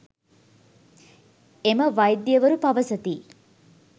එම වෛද්‍යවරු පවසති.